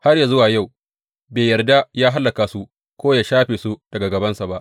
Har yă zuwa yau bai yarda yă hallaka su ko yă shafe su daga gabansa ba.